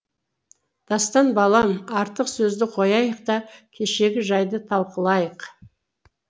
дастан балам артық сөзді қояйық та кешегі жайды талқылайық